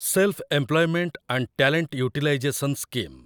self employment and talent utilization scheme